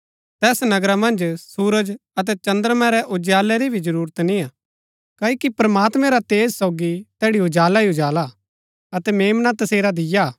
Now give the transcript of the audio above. तैस नगरा मन्ज सुरज अतै चद्रमां रै उजालै री भी जरूरत ना हा क्ओकि प्रमात्मैं रा तेज सोगी तैड़ी उजाला ही उजाला हा अतै मेम्ना तसेरा दीया हा